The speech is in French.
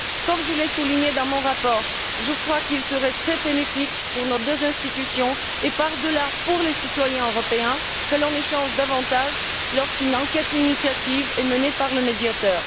Comme je l'ai souligné dans mon rapport, je crois qu'il serait très bénéfique pour nos deux institutions et, par delà, pour les citoyens européens que l'on échange davantage lorsqu'une enquête d'initiative est menée par le Médiateur.